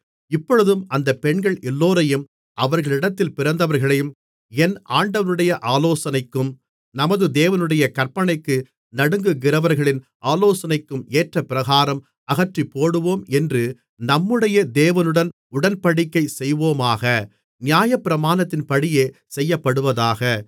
இப்பொழுதும் அந்தப் பெண்கள் எல்லோரையும் அவர்களிடத்தில் பிறந்தவர்களையும் என் ஆண்டவனுடைய ஆலோசனைக்கும் நமது தேவனுடைய கற்பனைக்கு நடுங்குகிறவர்களின் ஆலோசனைக்கும் ஏற்றபிரகாரம் அகற்றிப்போடுவோம் என்று நம்முடைய தேவனுடன் உடன்படிக்கை செய்வோமாக நியாயப்பிரமாணத்தின்படியே செய்யப்படுவதாக